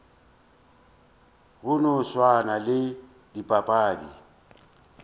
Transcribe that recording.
go no swana le dipapadi